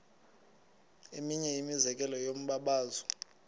eminye imizekelo yombabazo